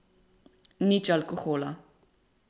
Nič alkohola.